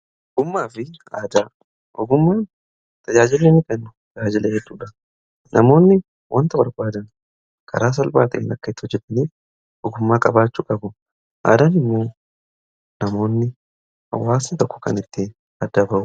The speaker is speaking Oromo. ummaa fi aadaa ogumaa tajaajiilii kennu jaajila edduudha namoonni wanta warbaadan karaa salbaati lakket o jedaniif hogumaa qabaachu qabu aadan immoo namoonni awwaasa tokko kan itti aadaba'u